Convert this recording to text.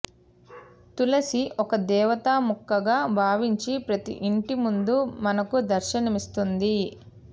తులసి ఒక దేవతా మొక్కగా బావించి ప్రతి ఇంటి ముందు మనకు దర్శనమిస్తుంది